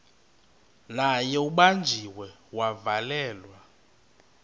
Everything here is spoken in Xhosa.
naye ubanjiwe wavalelwa